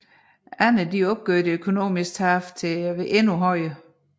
Andre opgjorde det økonomiske tab endnu højere